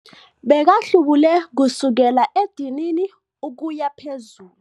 Bekahlubule kusukela edinini ukuya phezulu.